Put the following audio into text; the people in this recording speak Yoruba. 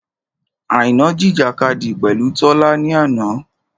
Àìná jìjìkadì pẹ̀lú Tọ́lá ni àná.